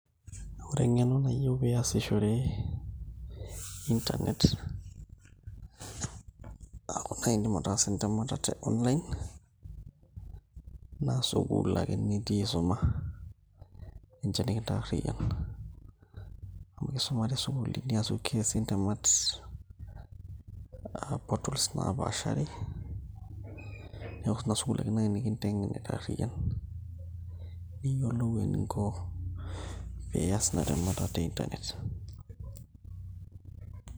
Ore eng'eno nayieu pee iasishore internet eeku naai iindim ataasa entemata te online naa sukuul ake nitii aisuma ninche nikintaarriyian amu kisuma isukuulini aaku keesi ntemat aa portals naapaashari, neeku ina sukuul ake naai nikinteng'en aitaarriyian niyiolou eninko pee ias ina temata te internet.